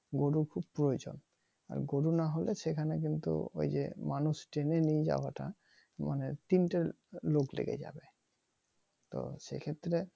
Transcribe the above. গরু খুব প্রয়োজন গরু নাহ হলে সেখানে কিন্তু মানুষ টেনে নিয়েও যাওয়াটা মানে তিনটা লোক লেগে যাবে তো সেইক্ষেত্রে